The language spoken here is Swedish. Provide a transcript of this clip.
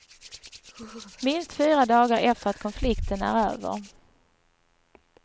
Minst fyra dagar efter att konflikten är över.